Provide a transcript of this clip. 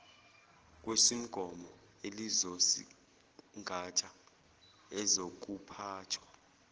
kwesumgomo elizosingatha ezokuphathwa